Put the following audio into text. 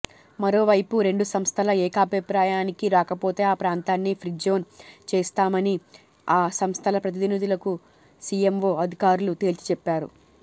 మరోవైపు రెండు సంస్థలు ఏకాభిప్రాయానికి రాకపోతే ఆ ప్రాంతాన్ని ఫ్రీజోన్ చేస్తామని ఆ సంస్థల ప్రతినిధులకు సీఎంవో అధికారులు తేల్చిచెప్పారు